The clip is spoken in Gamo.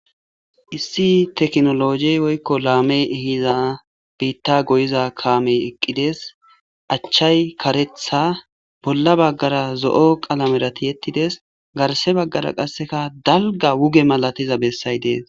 issi teknologi woykko laame ihiza biitta goyiza kaamey eqqides achchay karetha bolla baggara zo7o qalamerati ettides garshe baggara qasseka dalga wuge malatiza bessay dees